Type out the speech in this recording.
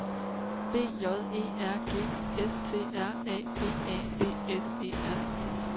B J E R G S T R A B A D S E R